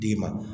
D'i ma